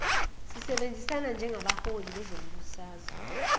sisebenzisana njengabaholi bezombusazwe